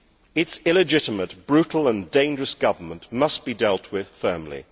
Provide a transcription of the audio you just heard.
Its illegitimate, brutal and dangerous government must be dealt with firmly.